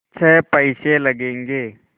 छः पैसे लगेंगे